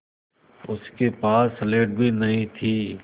उसके पास स्लेट भी नहीं थी